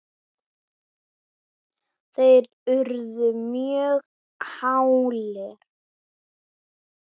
þeir urðu mjög hálir.